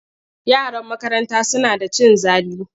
Yaran makarantarta suna da cin zali.